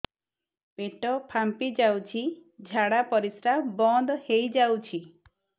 ପେଟ ଫାମ୍ପି ଯାଉଛି ଝାଡା ପରିଶ୍ରା ବନ୍ଦ ହେଇ ଯାଉଛି